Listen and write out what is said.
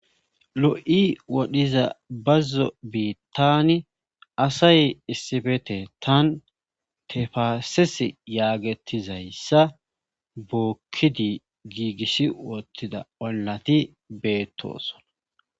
Lo,i wodhiza bazzo biittani asay issifete tan tefaases yaagetizayssa bookkidi giigissi woottida wallati beettoosona